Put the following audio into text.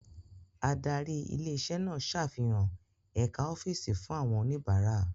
Adarí ilé iṣẹ́ náà ṣàfihàn ẹ̀ka ọ́fíìsì fún àwọn oníbàárà.